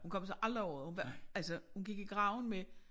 Hun kom sig aldrig over det hun var altså hun gik i graven med